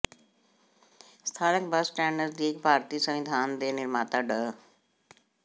ਸਥਾਨਕ bus stand ਨਜ਼ਦੀਕ ਭਾਰਤੀ ਸੰਵਿਧਾਨ ਦੇ ਨਿਰਮਾਤਾ ਡਾ